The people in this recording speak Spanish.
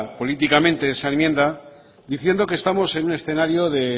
políticamente esa enmienda diciendo que estamos en un escenario de